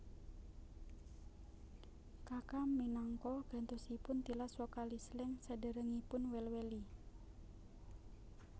Kaka minangka gantosipun tilas vokalis Slank saderengipun Well Welly